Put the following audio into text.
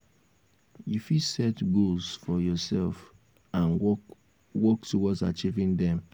you fit set goals for yourself and work work towards achieving dem.